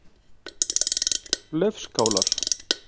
Laufskálar